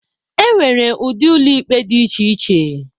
E nwere ụdị ụlọ ikpe dị iche iche